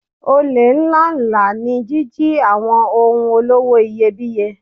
Olè ńláǹlà ní jíjí àwọn ohun olówó iyebíye.